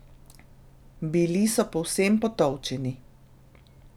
Bili so povsem potolčeni.